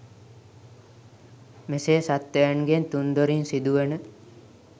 මෙසේ සත්ත්වයන්ගෙන් තුන් දොරින් සිදුවන